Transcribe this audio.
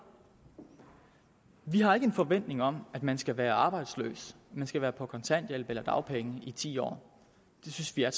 vi har ikke en forventning om at man skal være arbejdsløs at man skal være på kontanthjælp eller dagpenge i ti år det synes vi er